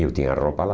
E eu tinha roupa lá.